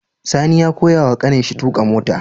Sani ya koya wa ƙanin shi tuƙa mota